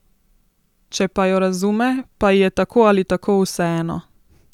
Če pa jo razume, pa ji je tako ali tako vseeno.